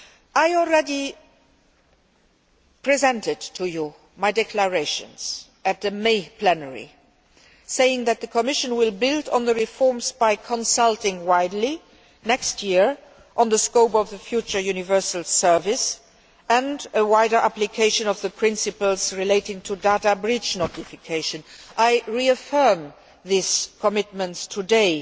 I already presented to you my declarations at the May plenary, saying that the Commission will build on the reforms by consulting widely next year on the scope of the future universal service and a wider application of the principles relating to data breach notification. I reaffirm these commitments today,